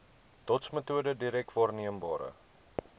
dotsmetode direk waarneembare